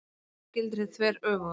Almennt gildir hið þveröfuga.